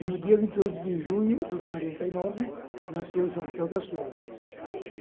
E, no dia vinte e oito de junho de quarenta e nove, nasceu o João, que é o Caçula.